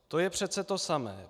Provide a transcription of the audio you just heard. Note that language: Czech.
To je přece to samé.